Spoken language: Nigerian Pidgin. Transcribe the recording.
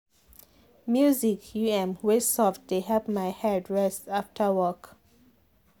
music u m wey soft dey help my head rest after work.